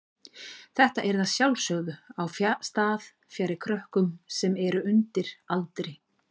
Þetta yrði að sjálfsögðu á stað fjarri krökkum sem eru undir aldri.